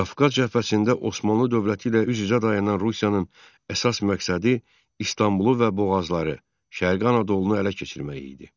Qafqaz cəbhəsində Osmanlı dövləti ilə üz-üzə dayanan Rusiyanın əsas məqsədi İstanbulu və boğazları, şərqi Anadolunu ələ keçirmək idi.